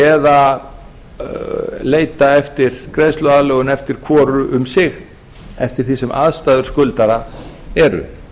eða leita eftir greiðsluaðlögun eftir hvoru um sig eftir því sem aðstæður skuldara eru